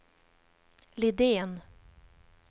Lidén